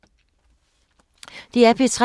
DR P3